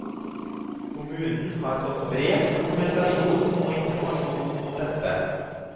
Kommunen har fått bred dokumentasjon og informasjon om dette.